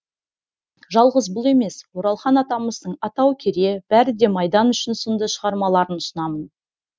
жалғыз бұл емес оралхан атамыздың атау кере бәрі де майдан үшін сынды шығармаларын ұсынамын